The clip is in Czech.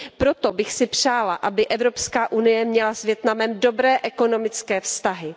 Proto bych si přála, aby Evropská unie měla s Vietnamem dobré ekonomické vztahy.